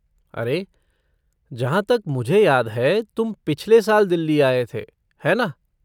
अरे, जहाँ तक मुझे याद है तुम पिछले साल दिल्ली आए थे, है ना?